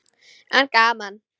En gaman!